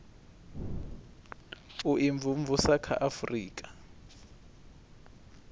u imvumvusa kha a afurika